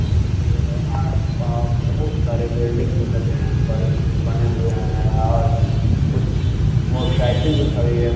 आस-पास अ बोहुत सारे बिल्डिंग भी लगे हुए हैं बने हुए है आर कुछ मोसायकिल भी खड़ी है।